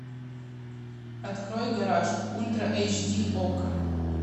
открой гараж ультра эйч ди окко